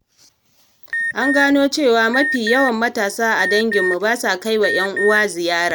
An gano cewa mafi yawan matasa a danginmu ba sa kai wa 'yan uwa ziyara.